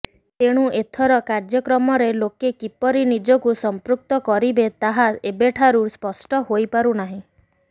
ଏଣୁ ଏଥର କାର୍ଯ୍ୟକ୍ରମରେ ଲୋକେ କିପରି ନିଜକୁ ସମ୍ପୃକ୍ତ କରିବା ତାହା ଏବେଠାରୁ ସ୍ପଷ୍ଟ ହୋଇପାରୁନାହିଁ